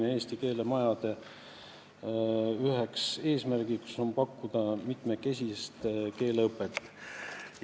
Üks Eesti keele majade eesmärk on pakkuda mitmekesist keeleõpet.